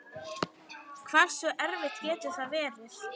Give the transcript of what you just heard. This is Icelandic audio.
Hversu erfitt getur það verið?